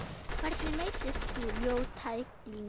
Hvernig meiddist þú, ljót tækling?